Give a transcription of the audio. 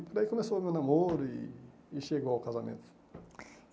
E por aí começou o meu namoro e e chegou ao casamento.